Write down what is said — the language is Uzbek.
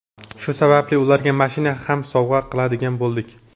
Shu sababli ularga mashina ham sovg‘a qiladigan bo‘ldik.